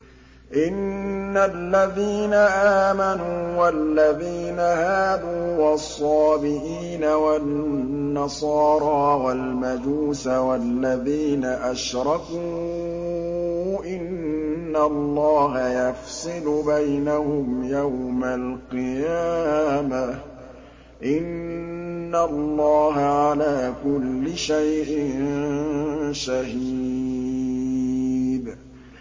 إِنَّ الَّذِينَ آمَنُوا وَالَّذِينَ هَادُوا وَالصَّابِئِينَ وَالنَّصَارَىٰ وَالْمَجُوسَ وَالَّذِينَ أَشْرَكُوا إِنَّ اللَّهَ يَفْصِلُ بَيْنَهُمْ يَوْمَ الْقِيَامَةِ ۚ إِنَّ اللَّهَ عَلَىٰ كُلِّ شَيْءٍ شَهِيدٌ